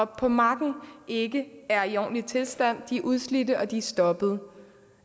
på marken ikke er i ordentlig tilstand de er udslidte og de er stoppede